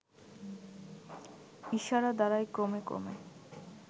ইশারা দ্বারাই ক্রমে ক্রমে